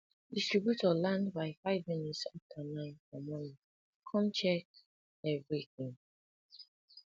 distributor land by five minutes after nine for morning come check everything